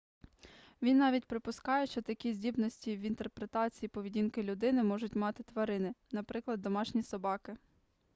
він навіть припускає що такі здібності в інтерпретації поведінки людини можуть мати тварини наприклад домашні собаки